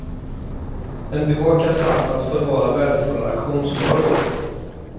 En bevakad plats att förvara värdefulla auktionsvaror på.